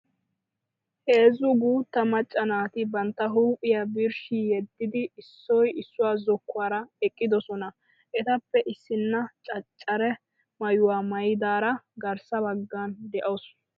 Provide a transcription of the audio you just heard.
Heezzu guutta macca naati bantta huuphiyaa birshshi yeddidi issoy issuwaa zokkuwaara eqqidosona. Etappe issinna caccara maayuwaa maayidaara garssa baggan de'awusu.